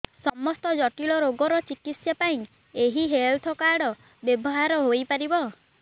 ସମସ୍ତ ଜଟିଳ ରୋଗର ଚିକିତ୍ସା ପାଇଁ ଏହି ହେଲ୍ଥ କାର୍ଡ ବ୍ୟବହାର ହୋଇପାରିବ